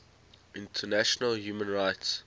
international human rights